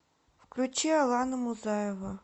включить алана музаева